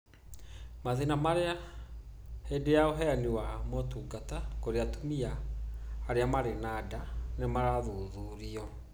Mathĩna marĩa hĩndĩ ya ũheani wa motungata kũrĩ atumia arĩa marĩ na nda nĩ marathuthurio,